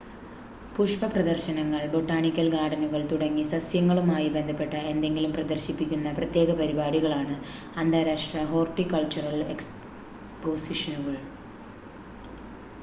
പുഷ്‌പ പ്രദർശനങ്ങൾ ബൊട്ടാണിക്കൽ ഗാർഡനുകൾ തുടങ്ങി സസ്യങ്ങളുമായി ബന്ധപ്പെട്ട എന്തെങ്കിലും പ്രദർശിപ്പിക്കുന്ന പ്രത്യേക പരിപാടികളാണ് അന്താരാഷ്ട്ര ഹോർട്ടികൾച്ചറൽ എക്സ്‌പോസിഷനുകൾ